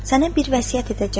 Sənə bir vəsiyyət edəcəyəm.